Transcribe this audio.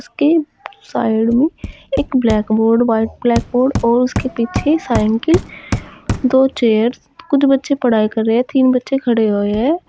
के साइड में एक ब्लैक बोर्ड व्हाइट ब्लैकबोर्ड और उसके पीछे साइकल दो चेयर्स कुछ बच्चे पढ़ाई कर रहे हैं तीन बच्चे खड़े हुए हैं।